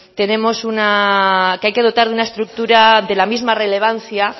tenemos una que hay que dotar de una estructura de la misma relevancia